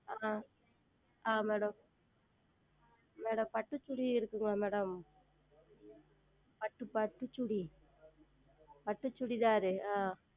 ஆஹ் ஆஹ் Madam Madam பட்டு Chudi இருக்காங்களா Madam பட்டு பட்டு Chudi பட்டு Chudithar ஆஹ்